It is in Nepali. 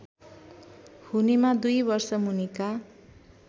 हुनेमा दुई वर्षमुनिका